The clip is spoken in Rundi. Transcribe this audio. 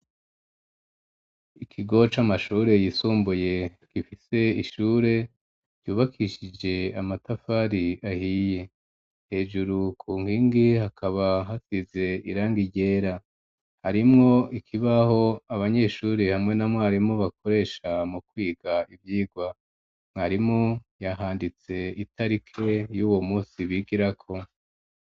Ikigo c'amashure yisumbuye gifise ishure ryubakishije amatafari ahiye hejuru ku nkingi hakaba hasize irangi ryera harimwo ikibaho abanyeshuri hamwe na mwarimu bakoresha mu kwiga ivyirwa mwarimu yahanditse itarike yuwo musi bigirako.